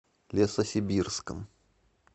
лесосибирском